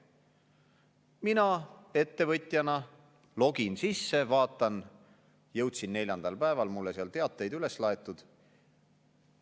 Mina ettevõtjana login sisse, vaatan, jõudsin neljandal päeval, mulle on seal teateid üles laetud.